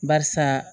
Barisa